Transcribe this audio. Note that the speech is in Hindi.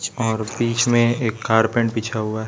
और बीच में एक कारपेट बिछा हुआ--